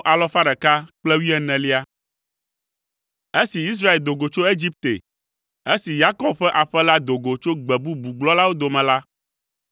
Esi Israel do go tso Egipte, esi Yakob ƒe aƒe la do go tso gbe bubu gblɔlawo dome la,